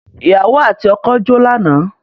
Ìyàwò àti ọkọ́ jó lánàá.